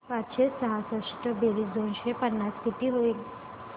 पाचशे सहासष्ट बेरीज दोनशे पन्नास किती होईल